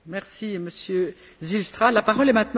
Frau Präsidentin, liebe Kolleginnen und Kollegen!